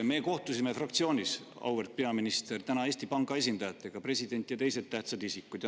Me kohtusime fraktsioonis, auväärt peaminister, täna Eesti Panga esindajatega, seal olid president ja teised tähtsad isikud.